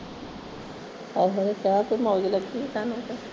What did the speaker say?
ਇਹ ਵੇਲੇ ਚਾਹ ਦੀ ਮੌਜ ਲੱਗੀ ਆ ਤੁਹਾਨੂੰ ਤੇ